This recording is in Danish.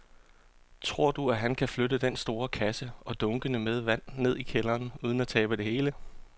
Tror du, at han kan flytte den store kasse og dunkene med vand ned i kælderen uden at tabe det hele?